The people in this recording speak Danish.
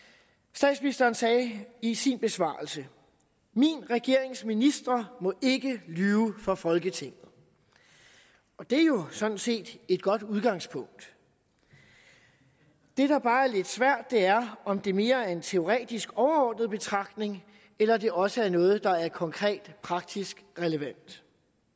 statsministeren sagde i sin besvarelse min regerings ministre må ikke lyve for folketinget og det er jo sådan set et godt udgangspunkt det der bare er lidt svært er om det mere er en teoretisk overordnet betragtning eller det også er noget der er konkret praktisk relevant